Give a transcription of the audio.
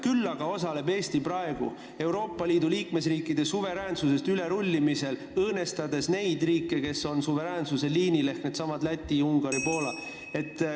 Küll aga osaleb Eesti praegu Euroopa Liidu liikmesriikide suveräänsusest ülerullimisel, õõnestades riike, kes on suveräänsuse liinil, ehk needsamad Läti, Ungari ja Poola.